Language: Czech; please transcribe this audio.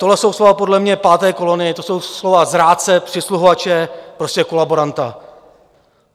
To jsou slova podle mě páté kolony, to jsou slova zrádce, přisluhovače, prostě kolaboranta!